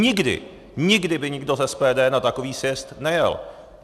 Nikdy, nikdy by nikdo z SPD na takový sjezd nejel.